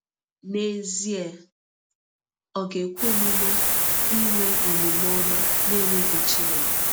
N’ezie, o ga-ekwe omume inwe omume ọma n’enweghị Chineke?